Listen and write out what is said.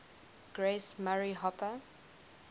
grace murray hopper